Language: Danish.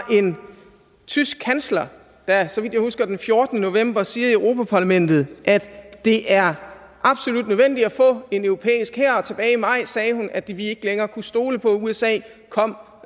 en tysk kansler der så vidt jeg husker den fjortende november siger i europa parlamentet at det er absolut nødvendigt at få en europæisk hær og tilbage i maj sagde hun at vi ikke længere kunne stole på at usa kom